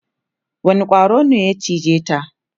wani ƙwaro ne ya cije ta?